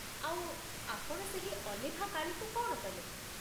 ଆଉ ଆପଣ ସେହି ଅଲିଭା କାଳିକୁ କ'ଣ କଲେ?